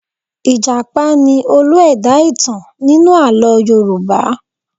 Ì̀jàpá ni olú-ẹ̀dá ìtàn nínú àlọ́ Yorùbá.